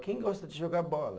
Quem gosta de jogar bola?